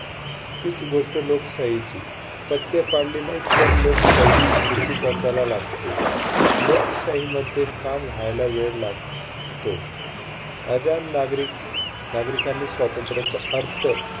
तीच गोष्ट लोकशाहीची, पथ्य पाळले नाहीत तर लोकशाही मृत्यूपथाला लागते. लोकशाहीमध्ये काम व्हायला वेळ लाग~तो. नागरिक नागरिकांनी स्वातंत्र्याचा अर्थ